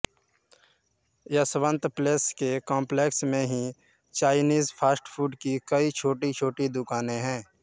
Yashwant place के complex में ही चाइनीस फ़ास्ट फ़ूड की कई छोटीछोटी दुकानें हैं